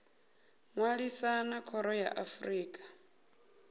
ṅwalisa na khoro ya afrika